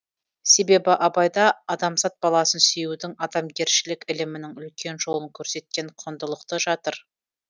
себебі абайда адамзат баласын сүюдің адамгершілік ілімінің үлкен жолын көрсеткен құндылықты жатыр